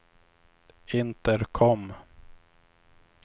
intercom